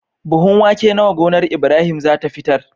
Buhun wake nawa gonar Ibrahim zata fitar